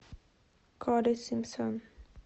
коди симпсон